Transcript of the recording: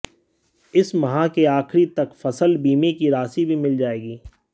इस माह के आखिरी तक फसल बीमे की राशि भी मिल जायेगी